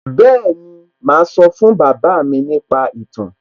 Bẹ́ẹ̀ni, màá sọ fún bàbá mi nípa ìtàn